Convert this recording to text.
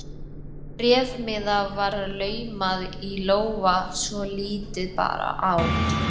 Bréfmiða var laumað í lófa svo lítið bar á.